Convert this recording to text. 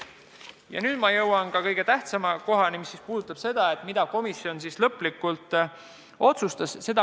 Ja nüüd ma jõuan kõige tähtsamani, mis puudutab seda, mida komisjon lõplikult otsustas.